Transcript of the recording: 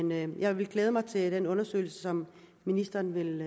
men jeg vil glæde mig til den undersøgelse som ministeren vil